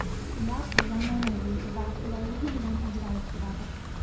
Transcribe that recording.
Ular zamonaviy va qulayligi bilan ajralib turadi.